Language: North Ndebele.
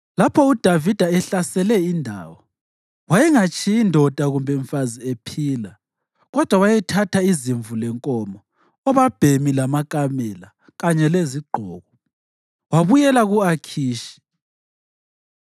Lapho uDavida ehlasele indawo, wayengatshiyi ndoda kumbe umfazi ephila, kodwa wayethatha izimvu lenkomo, obabhemi lamakamela, kanye lezigqoko. Wabuyela ku-Akhishi.